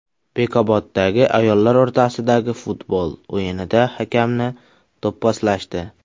Bekoboddagi ayollar o‘rtasidagi futbol o‘yinida hakamni do‘pposlashdi.